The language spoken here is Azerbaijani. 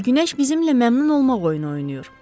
Elə bil günəş bizimlə məmnun olmaq oyunu oynayır.